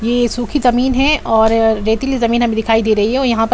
ये सूखी जमीन है और रेतीली जमीन हमे दिखाई दे रही है और यहां पे --